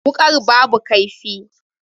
Wukar babu kaifi.